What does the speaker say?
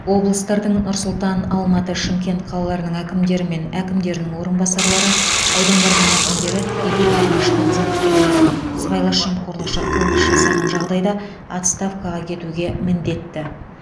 облыстардың нұр сұлтан алматы шымкент қалаларының әкімдері мен әкімдерінің орынбасарлары аудандардың әкімдері тікелей бағынышты қызметкерлері сыбайлас жемқорлық қылмыс жасаған жағдайда отставкаға кетуге міндетті